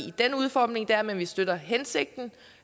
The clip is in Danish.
i den udformning det er i men vi støtter hensigten